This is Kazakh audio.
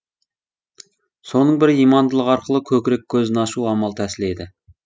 соның бірі имандылық арқылы көкірек көзін ашу амал тәсілі еді